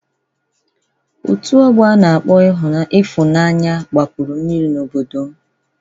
Otu ọgbọ a na-akpọ Ịfụnanya gbapuru mmiri n'obodo m.